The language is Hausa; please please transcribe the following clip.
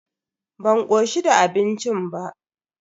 Ban koshi da abincin ba.